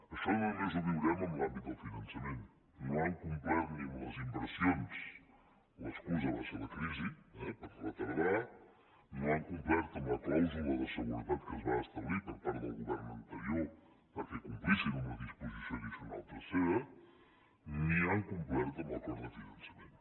això no només ho viurem en l’àmbit del finançament no han complert ni amb les inversions l’excusa va ser la crisi eh per retardar no han complert amb la clàusula de seguretat que es va establir per part del govern anterior perquè complissin amb la disposició addicional tercera ni han complert amb l’acord de finançament